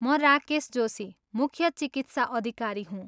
म राकेश जोशी, मुख्य चिकित्सा अधिकारी हुँ।